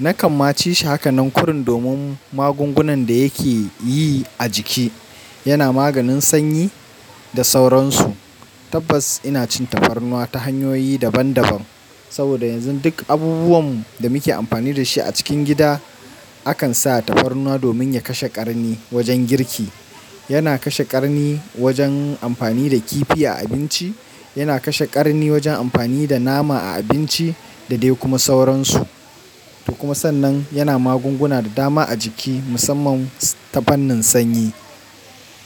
na kan ma ci shi haka nan ƙurin domin magungunan da yake yi a jiki. Yana maganin sanyi da sauransu. Tabbas ina cin tafarnuwa ta hanyoyi daban daban. Saboda yanzu duk abubuwan da muke amfani da shi a cikin gida, akan sa tafarnuwa domin ya kashe ƙarni wajen girki. Yana kashe ƙarni wajen amfani da kifi a abinci, yana kashe ƙarni wajen amfani da nama a abinci da dai kuma sauransu. Da kuma sannan yana magunguna da dama a jiki musamman tafarnin sanyi.